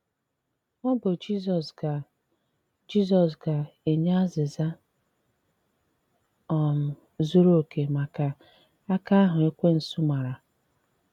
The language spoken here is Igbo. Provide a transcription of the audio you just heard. Ọ bụ Jizọs ga - Jizọs ga - enye azịza um zuru okè maka aka ahụ Ekwensụ mara.